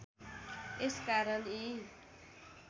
यस कारण यी